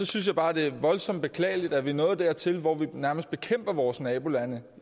synes jeg bare det er voldsomt beklageligt at vi er nået dertil hvor vi nærmest bekæmper vores nabolande